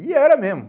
E era mesmo.